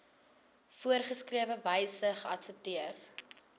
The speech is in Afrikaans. voorgeskrewe wyse geadverteer